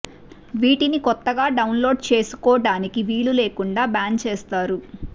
వీటిని కొత్తగా డౌన్లోడ్ చేసుకోడానికి వీలు లేకుండా బ్యాన్ చేస్తారు